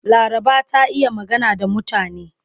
Laraba ta iya magana da mutane.